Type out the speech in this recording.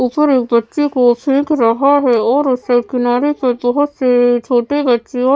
ऊपर एक बच्चे को फेंक रहा है और उस साइड किनारे पर बहुत से छोटे बच्चों और --